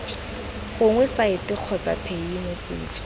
gogwa site kgotsa paye moputso